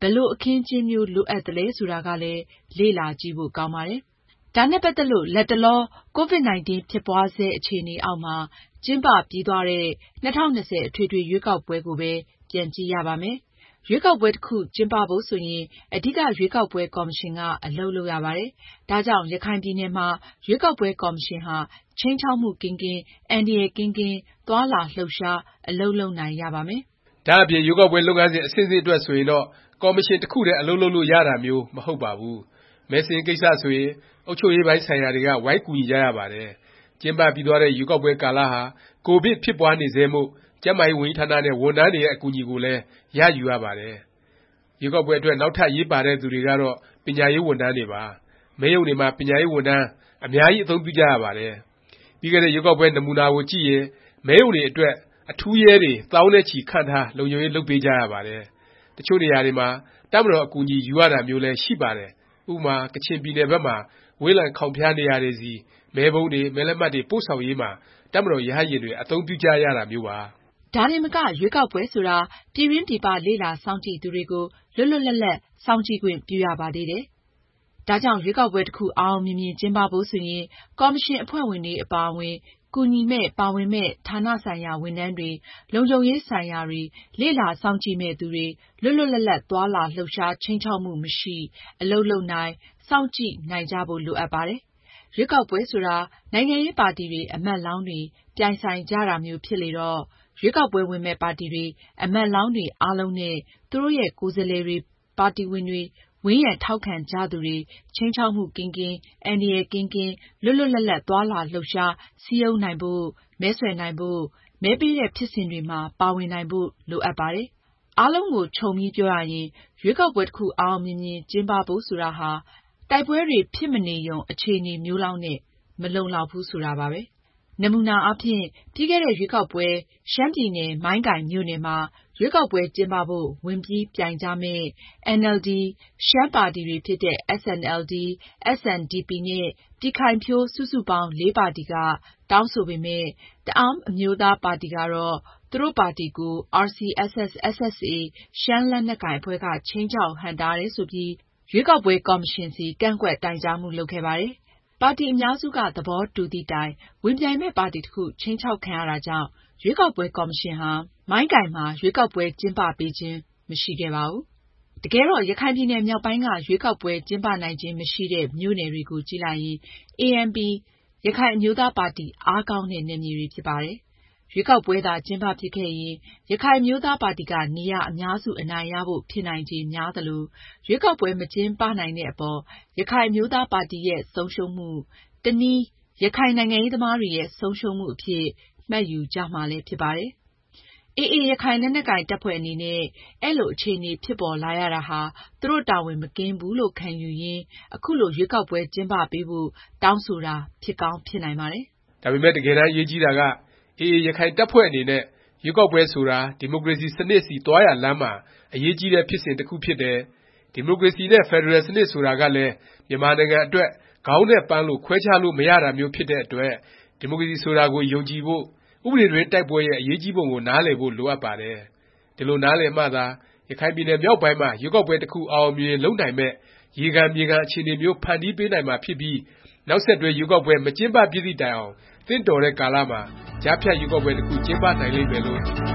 ဘယ်လို အခင်းအကျင်းမျိုး လိုအပ်သလဲ ဆိုတာကလည်း လေ့လာကြည့်ဖို့ ကောင်းပါတယ်။ ဒါနဲ့ ပတ်သက်လို့ လတ်တလော ကိုဗစ်-19 ဖြစ်ပွားဆဲ အခြေအနေအောက်မှာ ကျင်းပပြီးသွားတဲ့ ၂၀၂၀ အထွေထွေ ရွေးကောက်ပွဲကိုပဲ ပြန်ကြည့်ရပါမယ်။ ရွေးကောက်ပွဲ တစ်ခု ကျင်းပဖို့ ဆိုရင် အဓိက ရွေးကောက်ပွဲ ကော်မရှင်က အလုပ်လုပ်ရပါတယ်။ ဒါကြောင့် ရခိုင်ပြည်နယ်မှာ ရွေးကောက်ပွဲ ကော်မရှင်ဟာ ခြိမ်းခြောက်မှု ကင်းကင်း၊ အန္တရာယ်ကင်းကင်း သွားလာ လှုပ်ရှား အလုပ်လုပ်နိုင်ရပါမယ်။ ဒါ့အပြင် ရွေးကောက်ပွဲ လုပ်ငန်းစဉ် အဆင့်ဆင့်အတွက် ဆိုရင်တော့ ကော်မရှင် တစ်ခုတည်း အလုပ်လုပ်လို့ ရတာမျိုး မဟုတ်ပါဘူး။ မဲစာရင်းကိစ္စ ဆိုရင် အုပ်ချုပ်ရေးပိုင်းဆိုင်ရာတွေက ဝိုင်းကူညီကြရပါတယ်။ ကျင်းပပြီးသွားတဲ့ ရွေးကောက်ပွဲ ကာလဟာ ကိုဗစ် ဖြစ်ပွားနေဆဲမို့ ကျန်းမာရေးဝန်ကြီးဌာနနဲ့ ဝန်ထမ်းတွေရဲ့ အကူအညီကိုလည်း ရယူရပါတယ်။ ရွေးကောက်ပွဲအတွက် နောက်ထပ် အရေးပါတဲ့သူတွေကတော့ ပညာရေး ဝန်ထမ်းတွေပါ။ မဲရုံတွေမှာ ပညာရေးဝန်ထမ်း အများကြီး အသုံးပြုကြရပါတယ်။ ပြီးခဲ့တဲ့ ရွေးကောက်ပွဲ နမူနာကိုကြည့်ရင် မဲရုံတွေအတွက် အထူးရဲတွေ သောင်းနဲ့ချီ ခန့်ထား လုံခြုံရေး လုပ်ပေးကြရပါတယ်။ တစ်ချို့နေရာတွေမှာ တပ်မတော် အကူအညီ ယူရတာမျိုးလည်း ရှိပါတယ်။ ဥပမာ ကချင်ပြည်နယ် ဘက်မှာ ဝေးလံခေါင်ဖျား နေရာတွေဆီ မဲပုံးတွေ၊မဲလက်မှတ်တွေ ပို့ဆောင်ရေးမှာ တပ်မတော် ရဟတ်ယာဉ်တွေ အသုံးပြုကြရတာမျိုးပါ။ ဒါတင်မက ရွေးကောက်ပွဲဆိုတာ ပြည်တွင်း ပြည်ပ လေ့လာစောင့်ကြည့်သူတွေကို လွတ်လွတ်လပ်လပ် စောင့်ကြည့်ခွင့်ပြုရပါသေးတယ်။ ဒါကြောင့် ရွေးကောက်ပွဲ တစ်ခု အောင်အောင်မြင်မြင် ကျင်းပဖို့ ဆိုရင် ကော်မရှင် အဖွဲ့ဝင်တွေ အပါအဝင် ကူညီမယ့်၊ ပါဝင်မယ့် ဌာနဆိုင်ရာ ဝန်ထမ်းတွေ၊လုံခြုံရေး ဆိုင်ရာတွေ၊ လေ့လာစောင့်ကြည့်မယ့်သူတွေ လွတ်လွတ်လပ်လပ် သွားလာ လှုပ်ရှား၊ ခြိမ်းခြောက်မှု မရှိ အလုပ်လုပ်နိုင်၊ စောင့်ကြည့်နိုင်ကြဖို့ လိုအပ်ပါတယ်။ ရွေးကောက်ပွဲဆိုတာ နိုင်ငံရေးပါတီတွေ၊ အမတ်လောင်းတွေ ပြိုင်ဆိုင်ကြတာမျိုး ဖြစ်လေတော့ ရွေးကောက်ပွဲ ဝင်မယ့် ပါတီတွေ၊ အမတ်လောင်းတွေ အားလုံးနဲ့ သူတို့ရဲ့ ကိုယ်စားလှယ်တွေ၊ ပါတီဝင်တွေ၊ ဝန်းရံထောက်ခံကြသူတွေ ခြိမ်းခြောက်မှုကင်းကင်း၊ အန္တရာယ်ကင်းကင်း၊ လွတ်လွတ်လပ်လပ် သွားလာလှုပ်ရှား၊ စည်းရုံးနိုင်ဖို့၊ မဲဆွယ်နိုင်ဖို့၊ မဲပေးတဲ့ ဖြစ်စဉ်တွေမှာ ပါဝင်နိုင်ဖို့ လိုအပ်ပါတယ်။ အားလုံးကို ခြုံပြီးပြောရရင် ရွေးကောက်ပွဲ တစ်ခု အောင်အောင်မြင်မြင် ကျင်းပဖို့ ဆိုတာဟာ တိုက်ပွဲတွေ ဖြစ်မနေရုံ အခြေအနေမျိုးလောက်နဲ့ မလုံလောက်ဘူး ဆိုတာပါပဲ။ နမူနာအားဖြင့် ပြီးခဲ့တဲ့ ရွေးကောက်ပွဲ ရှမ်းပြည်နယ် မိုင်းကိုင်မြို့နယ်မှာ ရွေးကောက်ပွဲ ကျင်းပပေးဖို့ ဝင်ပြီးပြိုင်ကြမယ့် NLD, ရှမ်းပါတီတွေဖြစ်တဲ့ SNLD, SNDP နဲ့ ပြည်ခိုင်ဖြိုး စုစုပေါင်း (၄) ပါတီက တောင်းဆိုပေမယ့် တအဲန်းအမျိုးသားပါတီကတော့ သူတို့ပါတီကို RCSS/SSA ရှမ်းလက်နက်ကိုင်အဖွဲ့က ခြိမ်းခြောက် ဟန့်တားတယ် ဆိုပြီး ရွေးကောက်ပွဲ ကော်မရှင်ဆီ ကန့်ကွက်တိုင်ကြားမှု လုပ်ခဲ့ပါတယ်။ ပါတီ အများစုက သဘောတူသည့်တိုင် ဝင်ပြိုင်မယ့် ပါတီတစ်ခု ခြိမ်းခြောက်ခံရတာကြောင့် ရွေးကောက်ပွဲ ကော်မရှင်ဟာ မိုင်းကိုင်မှာ ရွေးကောက်ပွဲ ကျင်းပပေးခြင်း မရှိခဲ့ပါဘူး။ တကယ်တော့ ရခိုင်ပြည်နယ်မြောက်ပိုင်းက ရွေးကောက်ပွဲ ကျင်းပနိုင်ခြင်း မရှိတဲ့ မြို့နယ်တွေကိုကြည့်လိုက်ရင် ANP ရခိုင်အမျိုးသားပါတီ အားကောင်းတဲ့ နယ်မြေတွေ ဖြစ်ပါတယ်။ ရွေးကောက်ပွဲသာ ကျင်းပဖြစ်ခဲ့ရင် ရခိုင်အမျိုးသားပါတီက နေရာ အများစု အနိုင်ရဖို့ ဖြစ်နိုင်ခြေ များသလို ရွေးကောက်ပွဲ မကျင်းပနိုင်တဲ့အပေါ် ရခိုင်အမျိုးသားပါတီရဲ့ ဆုံးရှုံးမှု၊ တစ်နည်း ရခိုင်နိုင်ငံရေးသမားတွေရဲ့ ဆုံးရှုံးမှုအဖြစ် မှတ်ယူကြမှာလည်း ဖြစ်ပါတယ်။ AA ရခိုင် လက်နက်ကိုင် တပ်ဖွဲ့အနေနဲ့ အဲလို အခြေအနေ ဖြစ်ပေါ်လာရတာဟာ သူတို့တာဝန် မကင်းဘူးလို့ ခံယူရင်း ခုလို ရွေးကောက်ပွဲ ကျင်းပပေးဖို့ တောင်းဆိုတာ ဖြစ်ကောင်း ဖြစ်နိုင်ပါတယ်။ ဒါပေမယ့် တကယ်တမ်း အရေးကြီးတာက AA ရခိုင်တပ်ဖွဲ့အနေနဲ့ ရွေးကောက်ပွဲဆိုတာ ဒီမိုကရေစီ စနစ်ဆီ သွားရာလမ်းမှာ အရေးကြီးတဲ့ ဖြစ်စဉ်တစ်ခု ဖြစ်တယ်၊ ဒီမိုကရေစီ နဲ့ ဖက်ဒရယ်စနစ် ဆိုတာကလည်း မြန်မာနိုင်ငံအတွက် ခေါင်းနဲ့ ပန်းလို ခွဲခြားလို့ မရတာမျိုး ဖြစ်တဲ့အတွက် ဒီမိုကရေစီ ဆိုတာကို ယုံကြည်ဖို့၊ ဥပဒေတွင်း တိုက်ပွဲရဲ့ အရေးကြီးပုံကို နားလည်ဖို့ လိုအပ်ပါတယ်။ ဒီလို နားလည်မှသာ ရခိုင်ပြည်နယ်မြောက်ပိုင်းမှာ ရွေးကောက်ပွဲ တစ်ခု အောင်အောင်မြင်မြင် လုပ်နိုင်မယ့် ရေခံ မြေခံ အခြေအနေမျိုး ဖန်တီးပေးနိုင်မှာ ဖြစ်ပြီး နောက်ဆက်တွဲ ရွေးကောက်ပွဲ မကျင်းပဖြစ်သည့်တိုင်အောင် သင့်တော်တဲ့ကာလမှာ ကြားဖြတ်ရွေးကောက်ပွဲ တစ်ခု ကျင်းပနိုင်လိမ့်မယ်လို့ မျှော်